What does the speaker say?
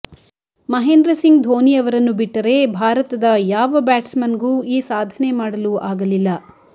ಮಹೇಂದ್ರ ಸಿಂಗ್ ಧೋನಿ ಅವರನ್ನು ಬಿಟ್ಟರೆ ಭಾರತದ ಯಾವ ಬ್ಯಾಟ್ಸ್ಮನ್ಗೂ ಈ ಸಾಧನೆ ಮಾಡಲು ಆಗಲಿಲ್ಲ